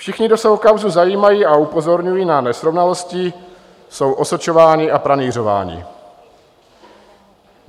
Všichni, kdo se o kauzu zajímají a upozorňují na nesrovnalosti, jsou osočováni a pranýřováni.